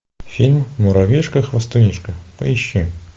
фильм муравьишка хвастунишка поищи